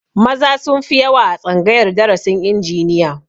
Maza sun fi yawa a tsangayar darasin injiniya